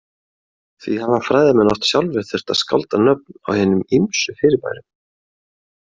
Því hafa fræðimenn oft sjálfir þurft að skálda nöfn á hinum ýmsu fyrirbærum.